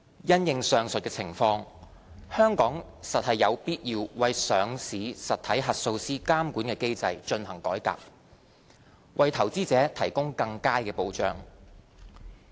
因應上述的情況，香港實有必要為上市實體核數師監管機制進行改革，為投資者提供更佳保障。